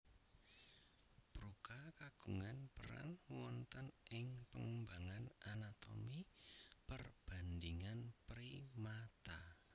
Broca kagungan peran wonten ing pengembangan anatomi perbandingan primata